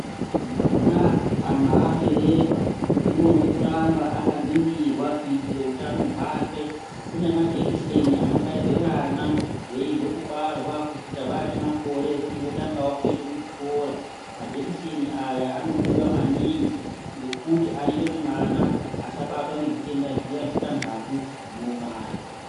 Mwana kana aberekwa unodo kuramba akaningirwa kuitire utano hwake kune majekiseni anobairwe vana veibve kubarwa kusvika vaane makore ekuti votangawo kuende kuzvikora majekiseni aya anodiwa maningi ngekuti anoita kuti mwana asabatwa ngezvitenda zviya zvitantatu zvinouraya.